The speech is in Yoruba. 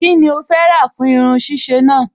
Kí ni o fẹ́ rà fún irun ṣíṣe náà?